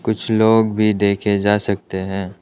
कुछ लोग भी देखे जा सकते हैं।